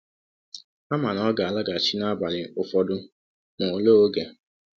Ha ma na ọ ga-alaghachi n’abalị ụfọdụ, ma olee oge?